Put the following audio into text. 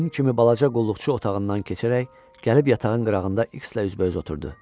Hin kimi balaca qulluqçu otağından keçərək gəlib yatağın qırağında İkslə üzbəüz oturdu.